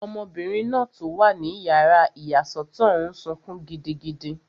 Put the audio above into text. Ọmọbìnrin náà tó wà ní yàrá ìyàsọ́tọ̀ n sọkún gidigidi